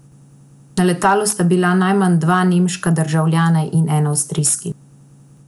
Na letalu sta bila najmanj dva nemška državljana in en avstrijski.